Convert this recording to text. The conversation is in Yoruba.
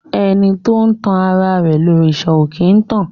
Ẹni tó tan ara rẹ̀ lòrìṣà òkè ń tàn.